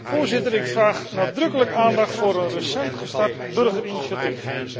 Voorzitter, ik vraag nadrukkelijk aandacht voor een recent gestart burgerinitiatief.